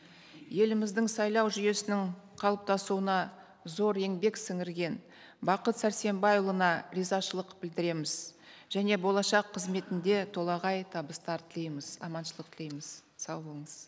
еліміздің сайлау жүйесінің қалыптасуына зор еңбек сіңірген бақыт сәрсенбайұлына ризашылық білдіреміз және болашақ қызметінде толағай табыстар тілейміз аманшылық тілейміз сау болыңыз